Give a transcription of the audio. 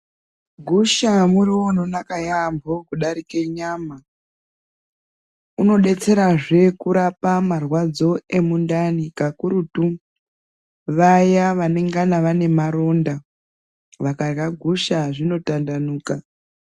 Gusha muriwo unonaka yambo kudarike nyama unodetsera zve kurapa zve kurapa marwadzo emundani kakurutu vaya vanongana vane marinda vakadya gusha zvino tandanuka.